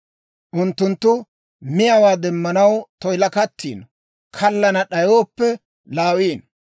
Unttunttu miyaawaa demanaw toyilakattiino; kallana d'ayooppe laawiino.